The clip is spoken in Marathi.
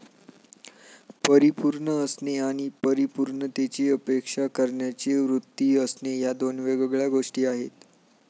परिपूर्ण असणे आणि परिपूर्णतेची अपेक्षा करण्याची वृत्ती असणे या दोन वेगळ्या गोष्टी आहेत.